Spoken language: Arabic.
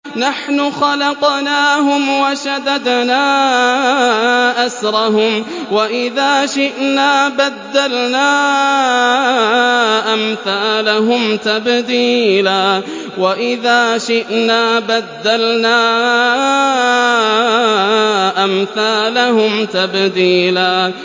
نَّحْنُ خَلَقْنَاهُمْ وَشَدَدْنَا أَسْرَهُمْ ۖ وَإِذَا شِئْنَا بَدَّلْنَا أَمْثَالَهُمْ تَبْدِيلًا